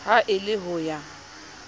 ha e le ho ya